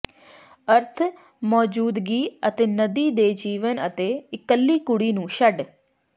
ਅਰਥ ਮੌਜੂਦਗੀ ਅਤੇ ਨਦੀ ਦੇ ਜੀਵਨ ਅਤੇ ਇਕੱਲੀ ਕੁੜੀ ਨੂੰ ਛੱਡ